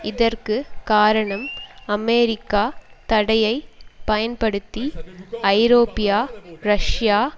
இதற்கு காரணம் அமெரிக்க தடையை பயன்படுத்தி ஐரோப்பிய ரஷ்யா